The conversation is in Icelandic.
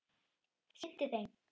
sinnti þeim.